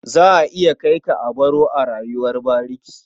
Za a iya kai ka a baro ka a rayuwar bariki.